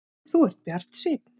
Þú ert bjartsýnn!